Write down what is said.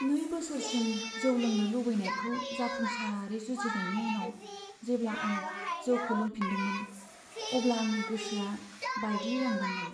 नै बोसोरसिम जौ लोंनो लुबैनायखौ जाफुंसारै जुजिनायनि उनाव जेब्ला आं जौखौ लोंफिन्दोंमोन, अब्ला आंनि गोसोआ बायग्लिलांदोंमोन।